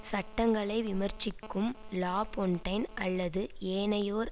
சட்டங்களை விமர்சிக்கும் லாபொன்டைன் அல்லது ஏனையோர்